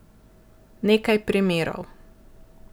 Nekaj primerov.